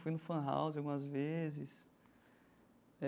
Fui no Fun House algumas vezes.